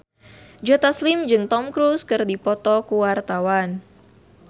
Joe Taslim jeung Tom Cruise keur dipoto ku wartawan